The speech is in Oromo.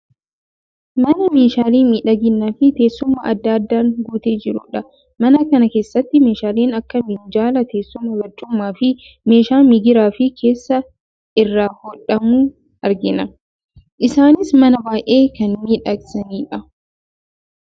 Mana meeshaalee miidhaginaa fi teessuma adda addaan guutee jirudha. Mana kana keessatti meeshaaleen akka minjaalaa, teessuma barcumaa, fi meeshaa migiraa fi keeshaa irraa hodhamu argina. Isaanis Mana baay'ee kan miidhagsanidha.